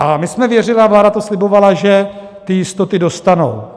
A my jsme věřili a vláda to slibovala, že ty jistoty dostanou.